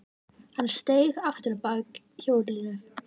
Hann steig aftur á bak hjólinu.